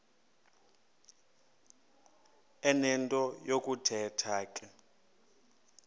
enento yokuthetha ke